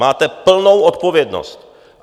Máte plnou odpovědnost.